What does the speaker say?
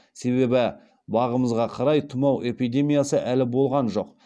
себебі бағымызға қарай тұмау эпидемиясы әлі болған жоқ